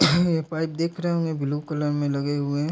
ये पाइप देख रहे होंगे ब्लू कलर में लगे हुए हैं।